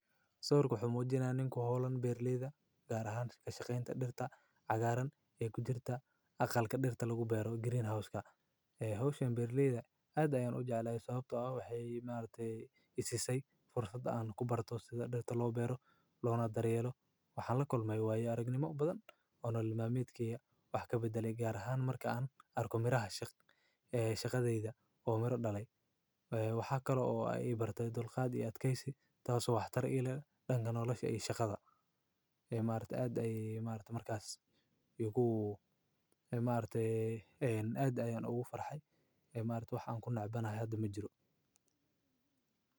Sawirka muxu muujinayaalku ninka hoolkan Berliida gaar ahaan ka shaqaynta dhirta cagaaran ee ku jirta aqaalka dhirta lagu beero green house gariin hoos u yeera Berliida aday u jeclaa isagoo sababtoo ah waxeeyimaartey isysay fursad aan ku barto sida dhirta loo beeray loona daryeelo waxaan la kulmay waayo aragnimo badan oo noocan maalmood kii wax ka beddel gaar ahaan marka aan arkum iraha shaq shaqadayda u mirno dhale, waxaa kaloo ay ibartay dulqaadi aad keysi taasoo wakhtar ilaa dhangan oloshahii shaqada imaarta aday imaartu markaas, iyagu imaarte en aday aan ugu farxay imaarta waxaan ku noocbanahay adoo ma jiro.